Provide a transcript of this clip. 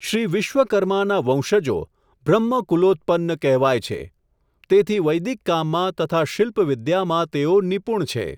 શ્રી વિશ્વકર્માનાં વંશજો, બ્રહ્મકૂલોત્પન્ન કહેવાય છે, તેથી વૈદિક કામમાં તથા શિલ્પ વિદ્યામાં તેઓ નિપુણ છે.